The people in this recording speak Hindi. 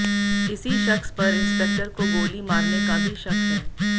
इसी शख्स पर इंस्पेक्टर को गोली मारने का भी शक है